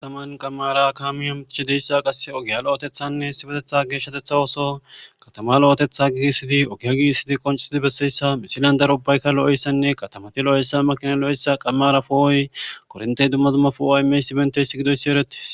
taman qamara kaami amtichideyssa qass ogiya lo7otethanne hesibetetha geeshshatetha oso katama lo7otetha gigisidi ogiya gigissidi qoncisidi besseyssa misilan darobaykka lo7essanne katamati lo7essa makina lo7eyssa qamarapooy korintey dumma dumma puaaymeysi benteysi gidoyssi eretis